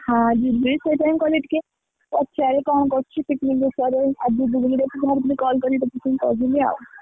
ଯିବୁ ଯଦି ପଛରେ college ଟିକେ, ପଚାରେ କଣ କରୁଛି picnic ବିଷୟରେ ଆଉ ଦିଦିନ ଭିତରେ ବାହାରିଥିଲି call କରିବାକୁ ସେଥିପାଇଁ କରିଦେଲି ଆଉ।